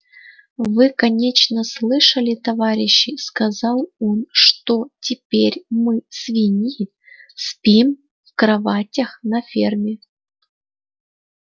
вы конечно слышали товарищи сказал он что теперь мы свиньи спим в кроватях на ферме